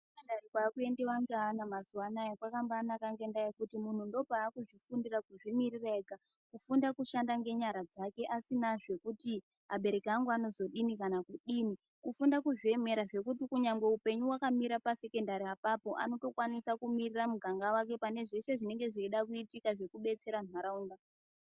Kuzvikora kwakuendiwa mazuwa anaa kwakambaanaka ngedaa yekuti munhu ndakwaakuzvifundira kuzvimiririra ega. Kufunda kushanda ngenyara dzake asina kuti abereki angu anozoti kudini kana kudini, kufundira kuti kunyangwe upengu hukamira pasekondari apapo anotokwanisa kumiririra muganga wake pane zvose zvinoda kuitika zvekubetsere nharaunda.